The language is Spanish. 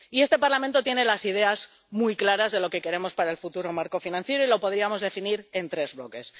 Y este Parlamento tiene las ideas muy claras de lo que queremos para el futuro marco financiero y lo podríamos definir en tres bloques.